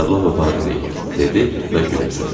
Karlovka deyil, dedi və gülümsədi.